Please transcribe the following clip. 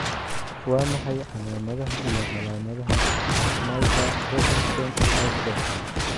Waa maxay calaamadaha iyo calaamadaha Snyder Robinson syndrome?